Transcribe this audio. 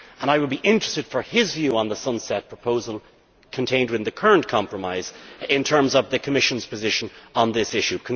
I would be interested in his view on the sunset proposal contained within the current compromise and the Commission's position on this issue.